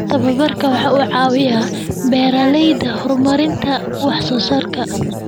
Tababarku waxa uu caawiyaa beeralayda horumarinta wax soo saarka.